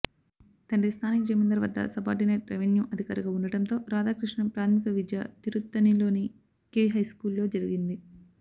తండ్రి స్థానిక జమిందార్ వద్ద సబార్డినేట్ రెవెన్యూ అధికారిగా ఉండటంతో రాథాకృష్ణన్ ప్రాథమిక విద్య తిరుత్తణిలోని కెవి హైస్కూలులో జరిగింది